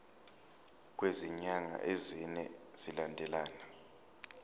kwezinyanga ezine zilandelana